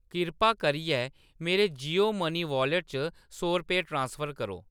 कृपा करियै मेरे जियो मनी वालेट च सौ रपेऽ ट्रांसफर करो।